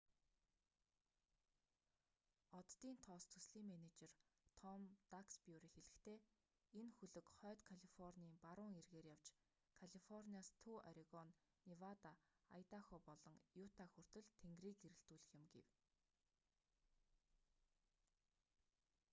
оддын тоос төслийн менежер том даксбюри хэлэхдээ энэ хөлөг хойд калифорний баруун эргээр явж калифорниас төв орегон невада айдахо болон юта хүртэл тэнгэрийг гэрэлтүүлэх юм гэв